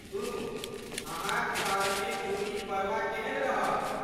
सुनु, अहाँक शहरमे गुड़ी पड़वा केहन रहल?